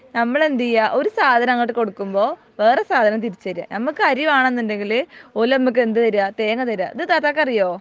നമ്മളെന്തെയ്യ ഒരു സാധനം അങ്ങോട്ട് കൊടുക്കുമ്പോ വേറെ സാധനം തിരിച്ച് തരെ നമുക്ക് അരി വേണെന്നുണ്ടെങ്കില് ഓല് നമക്ക് എന്ത് തെരെ തേങ്ങ തെരെ ഇത് താത്താക് അറിയോ